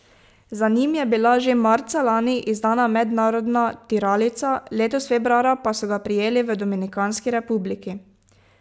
Za njim je bila že marca lani izdana mednarodna tiralica, letos februarja pa so ga prijeli v Dominikanski republiki.